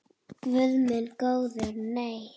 Guð minn góður nei.